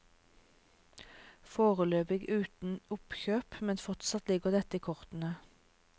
Foreløpig uten oppkjøp, men fortsatt ligger dette i kortene.